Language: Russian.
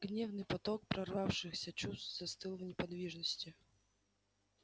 гневный поток прорвавшихся чувств застыл в неподвижности